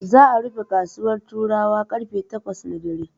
Za'a rufe kasuwar Turawa karfe takwas na dare.